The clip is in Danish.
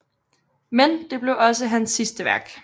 Men det blev også hans sidste værk